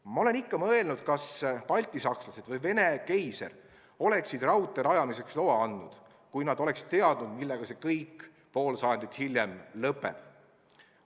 Ma olen ikka mõelnud, kas baltisakslased või Vene keiser oleksid raudtee rajamiseks loa andnud, kui nad oleksid teadnud, millega see kõik pool sajandit hiljem lõpeb.